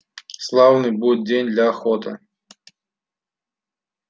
славный будет день для охоты